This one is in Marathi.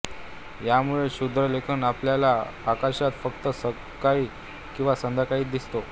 यामुळेच शुक्रदेखील आपल्याला आकाशात फक्त सकाळी किंवा संध्याकाळीच दिसतो